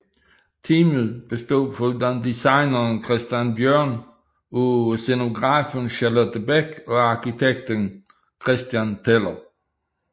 Teamet bestod foruden designeren Christian Bjørn af scenografen Charlotte Bech og arkitekten Christian Teller